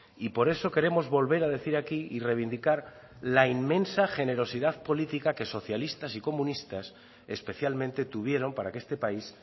y por eso queremos volver a decir aquí y reivindicar la inmensa generosidad política que socialistas y comunistas especialmente tuvieron para que este país